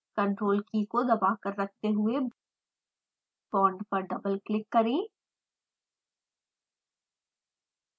ctrl की को दबाकर रखते हुए बॉन्ड पर डबल क्लिक करें